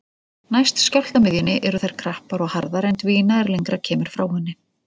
Næst skjálftamiðjunni eru þær krappar og harðar en dvína er lengra kemur frá henni.